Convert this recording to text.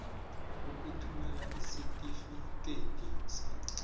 ukuthumela isitifikedi sakho